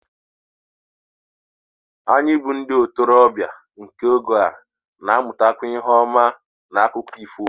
Anyị bụ́ ndị ntorobịa nke oge a na-amụtakwa ihe ọma n'akụkọ ifo